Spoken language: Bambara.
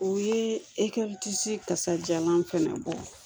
O ye kasajalan fana bɔ